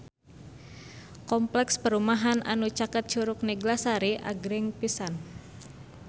Kompleks perumahan anu caket Curug Neglasari agreng pisan